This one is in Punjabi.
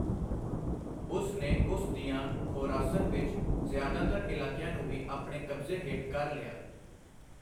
ਉਸ ਨੇ ਉਸ ਦੀਆਂ ਖੋਰਾਸਨ ਵਿੱਚ ਜ਼ਿਆਦਾਤਰ ਇਲਾਕਿਆਂ ਨੂੰ ਵੀ ਆਪਣੇ ਕਬਜ਼ੇ ਹੇਠ ਕਰ ਲਿਆ I